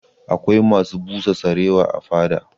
Akwai masu busa sarewa a fada